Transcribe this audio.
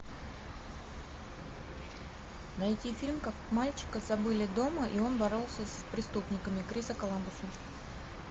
найти фильм как мальчика забыли дома и он боролся с преступниками криса коламбуса